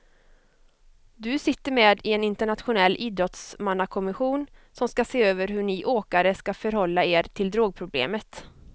Du sitter med i en internationell idrottsmannakommission som ska se över hur ni åkare ska förhålla er till drogproblemet.